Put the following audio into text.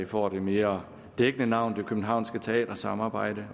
får det mere dækkende navn det københavnske teatersamarbejde